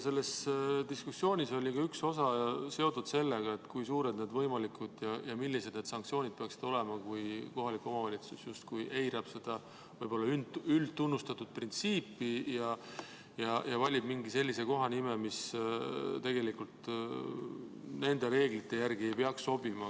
Selle diskussiooni üks osi oli seotud sellega, kui suured ja millised need võimalikud sanktsioonid peaksid olema, kui kohalik omavalitsus justkui eirab seda võib-olla üldtunnustatud printsiipi ja valib mingi sellise kohanime, mis tegelikult nende reeglite järgi ei peaks sobima.